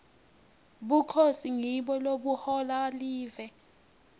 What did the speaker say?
bukhosi ngibo lobuhola live